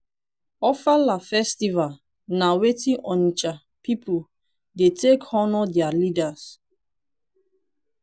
ofala festival na weti onitsha pipu dey take honour their leaders.